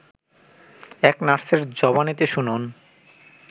এক নার্সের জবানিতে শুনুন